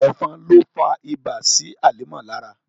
Ẹ̀fọn ló fa ibà sí Hàlímà lára.